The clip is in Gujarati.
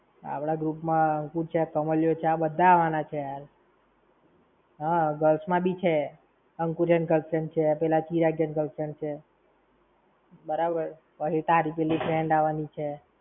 આપણા group માં હું છે, કામલીયો છે, આ બધા આવાના છે. હા, girls માં બી છે, અંકુરિયાં ની girlfriend છે પેલા ચિરગીયા ની girlfriend છે. બરાબર. પહી તારી પેઇ friend આવાની છે.